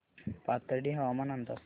पाथर्डी हवामान अंदाज